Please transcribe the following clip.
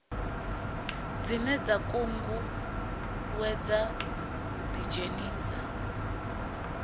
dzine dza ṱuṱuwedza u ḓidzhenisa